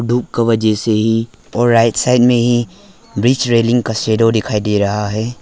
धूप का वजह से ही और राइट साइड में ही ब्रिज रेलिंग का शैडो दिखाई दे रहा है।